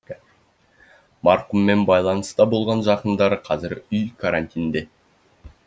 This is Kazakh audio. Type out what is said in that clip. марқұммен байланыста болған жақындары қазір үй карантинде